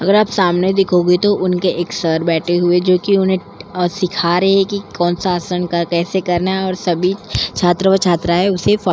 अगर आप सामने देखोगे तो उनके एक सर बैठे हुए जो कि उन्हें सिखा रहे हैं कि कौन सा आसन का कैसे करना है और सभी छात्र व छात्रा है उसे--